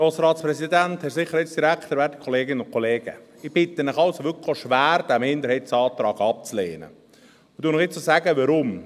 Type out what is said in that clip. Ich bitte Sie also wirklich schwer, diesen Minderheitsantrag abzulehnen, und ich sage Ihnen jetzt auch noch warum: